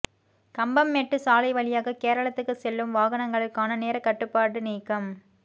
கம்பம்மெட்டு சாலை வழியாக கேரளத்துக்கு செல்லும் வாகனங்களுக்கான நேரக் கட்டுப்பாடு நீக்கம்